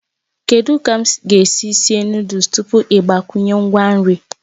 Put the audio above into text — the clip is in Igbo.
Kedu ka m ga-esi sie noddles tupu ị gbakwunye ngwa nri?